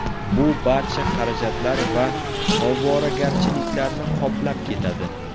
Bu barcha xarajatlar va ovoragarchiliklarni qoplab ketadi.